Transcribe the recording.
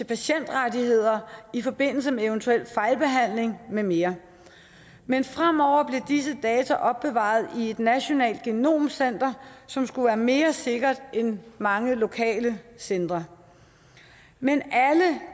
patientrettigheder i forbindelse med eventuel fejlbehandling med mere men fremover bliver disse data opbevaret i et nationalt genomcenter som skulle være mere sikkert end mange lokale centre men alle